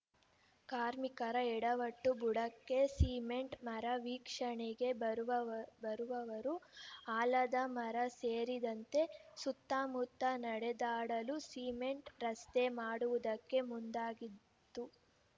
ಕಾರ್ಮಿಕರ ಎಡವಟ್ಟು ಬುಡಕ್ಕೆ ಸಿಮೆಂಟ್‌ ಮರ ವೀಕ್ಷಣೆಗೆ ಬರುವವ ಬರುವವರು ಆಲದ ಮರ ಸೇರಿದಂತೆ ಸುತ್ತಮುತ್ತ ನಡೆದಾಡಲು ಸಿಮೆಂಟ್‌ ರಸ್ತೆ ಮಾಡುವುದಕ್ಕೆ ಮುಂದಾಗಿದ್ದು